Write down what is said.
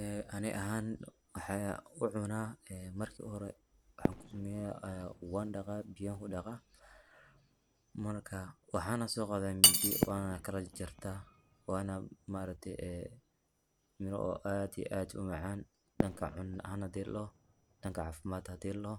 Ee ani ahan waxan ucunaa, marka uhore waxan kusameeya wan dhaqaa ,biyan kudhaqaa, marka waxana soo qaada mindi wana lakala jajarta wana ma aragte ee miro aad iyo aad umacan dhanka cuna ahan hadii ladhoho ,dhanka caafimad hadii ladhoho